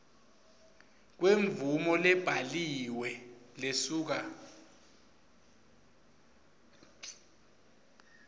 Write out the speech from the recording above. kwemvumo lebhaliwe lesuka